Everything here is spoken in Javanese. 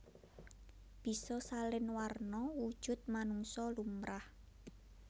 Bisa salin warna wujud manungsa lumrah